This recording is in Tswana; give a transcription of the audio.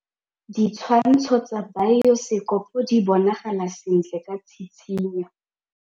Ditshwantshô tsa biosekopo di bonagala sentle ka tshitshinyô.